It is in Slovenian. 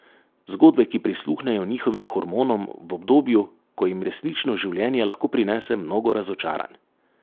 Zgodbe, ki prisluhnejo njihovim hormonom v obdobju, ko jim resnično življenje lahko prinese mnogo razočaranj.